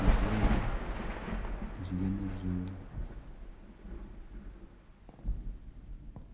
eizooba ririyo nirirenga